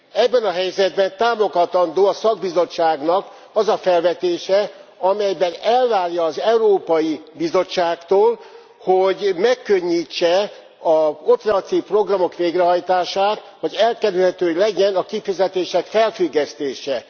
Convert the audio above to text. Ebben a helyzetben támogatandó a szakbizottságnak az a felvetése, amelyben elvárja az Európai Bizottságtól, hogy megkönnyítse az operatív programok végrehajtását, hogy elkerülhető legyen a kifizetések felfüggesztése.